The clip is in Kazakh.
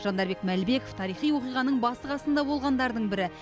жандарбек мәлібеков тарихи оқиғаның басы қасында болғандардың бірі